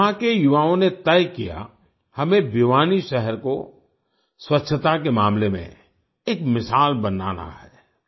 यहाँ के युवाओं ने तय किया हमें भिवानी शहर को स्वच्छता के मामले में एक मिसाल बनाना है